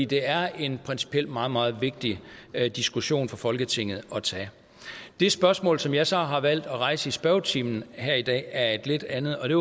det er en principielt meget meget vigtig diskussion for folketinget at tage det spørgsmål som jeg så har valgt at rejse i spørgetimen her i dag er et lidt andet og det